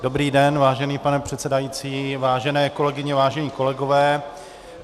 Dobrý den, vážený pane předsedající, vážené kolegyně, vážení kolegové.